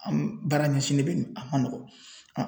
An baara ɲɛsinnen bɛ nin a man nɔgɔ an